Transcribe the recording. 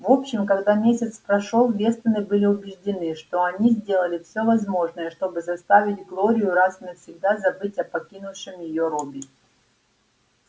в общем когда месяц прошёл вестоны были убеждены что они сделали все возможное чтобы заставить глорию раз и навсегда забыть о покинувшем её робби